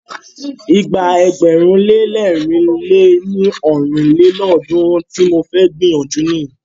Ìgbà ẹgbẹ̀rún lé lẹ̀rin lé ní ọ́rin lélọ́ọ̀dúnrún tí mo fẹ́ gbìyànjú nìyí.